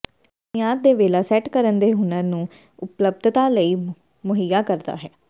ਬੁਨਿਆਦ ਦੇ ਵੇਲਾ ਸੈੱਟ ਕਰਨ ਦੇ ਹੁਨਰ ਦੀ ਉਪਲੱਬਧਤਾ ਲਈ ਮੁਹੱਈਆ ਕਰਦਾ ਹੈ